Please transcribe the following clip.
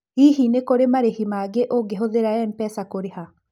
Hihi kũrĩ na marĩhi mangĩ ũngĩhũthĩra M-pesa kũrĩha?